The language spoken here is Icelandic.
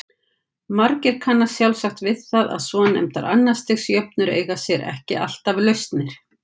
Margir kannast sjálfsagt við það að svonefndar annars stigs jöfnur eiga sér ekki alltaf lausnir.